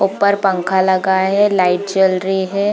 ऊपर पंखा लगा है लाइट जल रही हे।